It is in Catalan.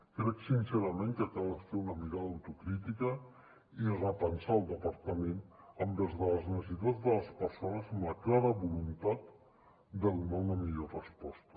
crec sincerament que cal fer una mirada autocrítica i repensar el departament envers les necessitats de les persones amb la clara voluntat de donar una millor resposta